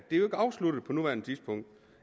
ikke afsluttet på nuværende tidspunkt